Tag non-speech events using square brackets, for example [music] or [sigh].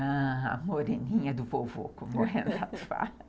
Ah, a moreninha do vovô, [laughs] como o Renato fala.